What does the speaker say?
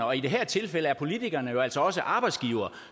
og i det her tilfælde er politikerne jo altså også arbejdsgivere og